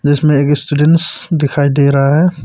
इसमें एक स्टूडेंट दिखाई दे रहा है।